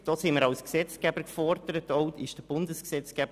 Da sind wir als Gesetzgeber gefordert und das auch auf Bundesebene.